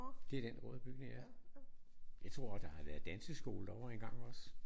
Det er den røde bygning ja. Jeg tror der har været danseskole derovre en gang også